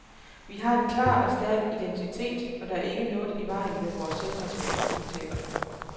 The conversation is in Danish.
Vi har en klar og stærk identitet, og der er ikke noget i vejen med vor selvrespekt, udtaler han.